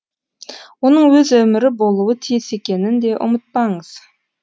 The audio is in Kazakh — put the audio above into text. оның өз өмірі болуы тиіс екенін де ұмытпаңыз